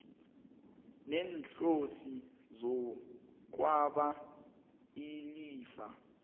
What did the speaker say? neenhloso zokwaba ilifa